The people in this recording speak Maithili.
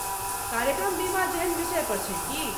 कार्यक्रम बीमा जेहन विषय पर छै की?